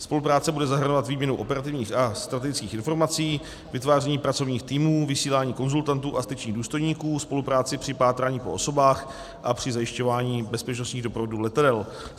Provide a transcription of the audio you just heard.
Spolupráce bude zahrnovat výměnu operativních a strategických informací, vytváření pracovních týmů, vysílání konzultantů a styčných důstojníků, spolupráci při pátrání po osobách a při zajišťování bezpečnostních doprovodů letadel.